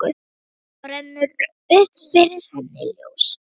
Þá rennur upp fyrir henni ljós.